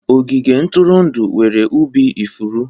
Ogige ntụrụndụ nwere ubi ifuru.